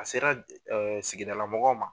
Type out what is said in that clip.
A sera sigidala mɔgɔw ma.